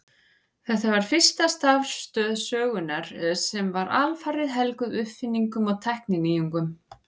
Þetta var fyrsta starfstöð sögunnar sem var alfarið helguð uppfinningum og tækninýjungum.